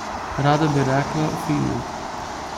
Rada bi rekla, fino.